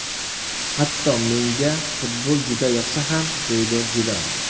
Hatto menga futbol juda yoqsa ham”, deydi Zidan.